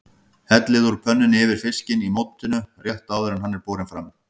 Hellið úr pönnunni yfir fiskinn í mótinu rétt áður en hann er borinn fram.